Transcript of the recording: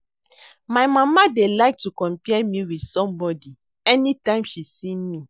My mama dey like to compare me with somebody anytime she see me